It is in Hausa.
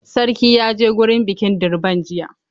Sarki ya je gurin bikin durbar jiya.